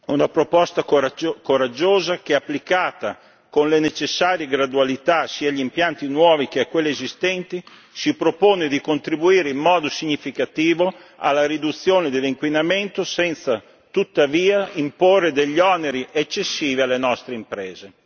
Una proposta coraggiosa che, applicata con le necessarie gradualità sia agli impianti nuovi sia a quelli esistenti, si propone di contribuire in modo significativo alla riduzione dell'inquinamento, senza tuttavia imporre oneri eccessivi alle nostre imprese.